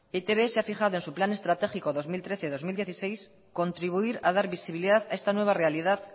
etb se ha fijado en su plan estratégico dos mil trece dos mil dieciséis contribuir a dar visibilidad a esta nueva realidad